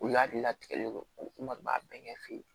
U ladi latigɛlen don n kɔni b'a bɛɛ ɲɛ fɛ yen